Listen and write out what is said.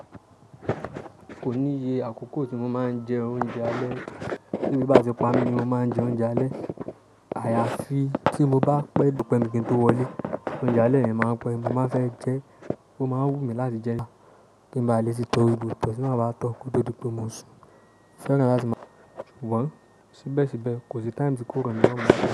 Kò níye àkókò tí mo máa ń jẹ oúnjẹ alẹ́. Bí ebi bá ti pámi ni mo máa ń jẹ oúnjẹ alẹ́. Àyàfì, tí mo bá pẹ́ to pẹ́ mi kì n tó wọlé, oúnjẹ alẹ́ yen màá n pẹ́, mo máa n fẹ́ jẹ ẹ́, ó máa wú mi láti jẹ ẹ́. Kí n ba lè ṣì tọ́ gbogbo ito tí máa ba tọ́ kó tó dípé mo sùn. Féran láti máa jẹ ẹ́? Jù wọ́n. Síbẹ̀síbẹ̀ kò sí time tí kò rọ̀mí lorun.